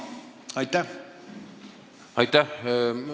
Aitäh!